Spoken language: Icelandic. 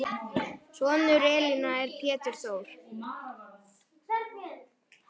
Sonur Elínar er Pétur Þór.